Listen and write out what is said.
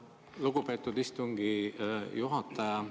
Lugupeetud istungi juhataja!